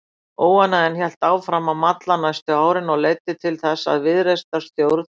Óánægjan hélt áfram að malla næstu árin og leiddi til þess að viðreisnarstjórn